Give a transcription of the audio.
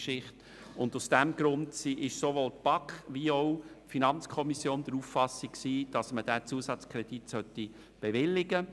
Aus diesem Grund ist sowohl die BaK als auch die FiKo der Auffassung, man solle diesen Zusatzkredit bewilligen.